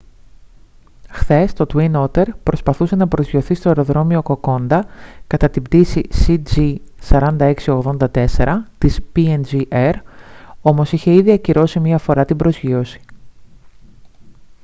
χθες το twin otter προσπαθούσε να προσγειωθεί στο αεροδρόμιο κοκόντα κατά την πτήση cg4684 της png air όμως είχε ήδη ακυρώσει μια φορά την προσγείωση